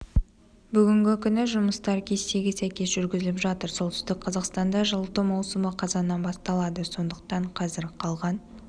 бүгінгі күні жұмыстар кестеге сәйкес жүргізіліп жатыр солтүстік қазақстанда жылыту маусымы қазаннан басталады сондықтан қазір қалған